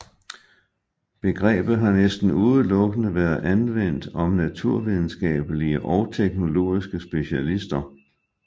Begrebet har næsten udelukkende været anvendt om naturvidenskabelige og teknologiske specialister